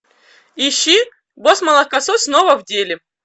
ищи босс молокосос снова в деле